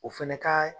O fɛnɛ ka